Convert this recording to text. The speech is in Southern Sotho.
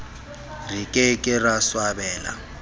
re ke ke ra swabela